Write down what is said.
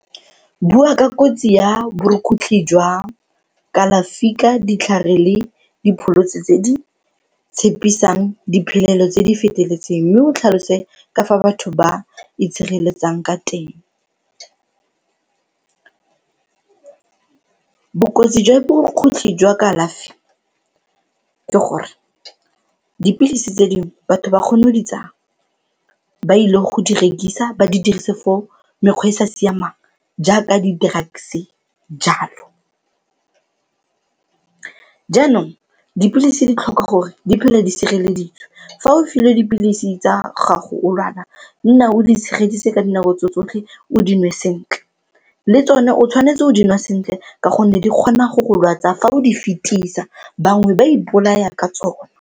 Bua ka kotsi ya borukgutlhi jwa kalafi ka ditlhare le dipholosi tse di tshepisang diphelelo tse di feteletseng mme o tlhalose ka fa batho ba itshireletsang ka teng. Bokotsi jwa borukgutlhi jwa kalafi ke gore, dipilisi tse dingwe batho ba kgona go di tsaya ba ile go di rekisa, ba di dirise fo mekgwa e e sa siamang jaaka di-drugs jalo. Jaanong dipilisi di tlhoka gore di phele di sireleditswe, fa o filwe dipilisi tsa gago o lwala nna o di tshegeditse ka dinako tse tsotlhe o dinwe sentle, le tsone o tshwanetse o dinwa sentle ka gonne di kgona go go lwatsa fa o di fetisa, bangwe ba ipolaya ka tsone.